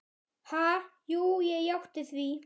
Ha, jú ég játti því.